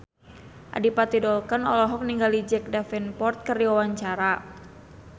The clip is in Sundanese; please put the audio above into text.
Adipati Dolken olohok ningali Jack Davenport keur diwawancara